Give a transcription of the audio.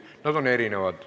Need on erinevad.